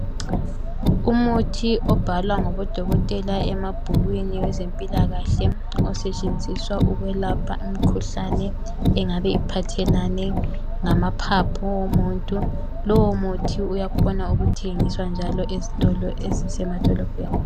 umuthi obhalwa ngabo dokotela emabhukwini wezempilakahle osetshenziswa ukwelapha imkhuhlane engabe iphathelane ngamaphapho womuntu lowo muthi uyakhona ukuthengiswa njalo esitolo ezisema dolobheni.